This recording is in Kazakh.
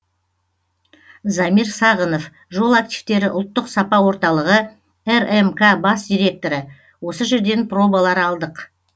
замир сағынов жол активтері ұлттық сапа орталығы рмк бас директоры осы жерден пробалар алдық